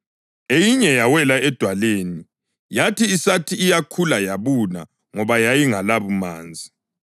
Eyinye yawela edwaleni, yathi isathi iyakhula yabuna ngoba yayingelabumanzi.